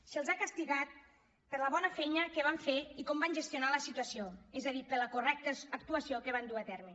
se’ls ha castigat per la bona feina que van fer i com van gestionar la situació és a dir per la correcta actuació que van dur a terme